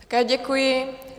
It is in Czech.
Také děkuji.